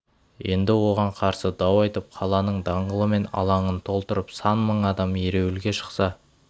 енді оған қарсы дау айтып қаланың даңғылы мен алаңын толтырып сан мың адам ереуілге шықса